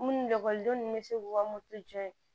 Munnu ekɔlidenw bɛ se k'u ka moto jɔ yen